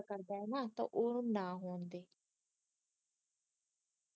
ਜਿਹੜਾ ਏਦਾਂ ਕਰਦਾ ਆ ਨਾ ਓਹਨੂੰ ਨਾ ਹੋਣ ਦਿਓ